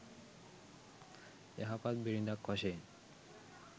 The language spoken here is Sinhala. යහපත් බිරිඳක් වශයෙන්